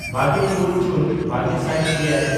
ᱵᱟᱜᱮᱼᱛᱩᱨ ᱡᱩᱱ ᱵᱟᱜᱮ ᱥᱟᱭ ᱮᱭᱟᱭ